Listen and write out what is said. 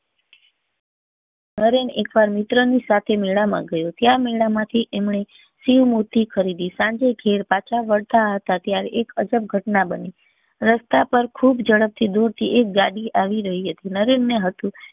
નરેન એક વાર મિત્ર ના સાથે મેળા માં ગયો ત્યાં મેળા માંથી એમને શિવ મૂર્તિ ખરીદી સાંજે ઘેર પાછા વળતા હતા ત્યારે એક અજબ ઘટના બની રસ્તા પર ખુબ ઝડપ થી દુર થી એક ગાડી આવી રહી હતી નરેન ને હતું